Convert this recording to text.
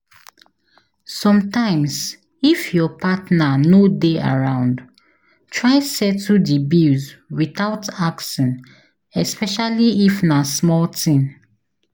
Sometimes if your partner no de around try settle di bills without asking especially if na small thing